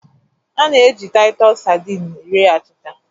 A na-eji Titus sardines rie achịcha